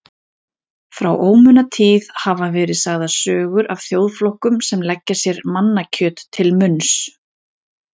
Frá ómunatíð hafa verið sagðar sögur af þjóðflokkum sem leggja sér mannakjöt til munns.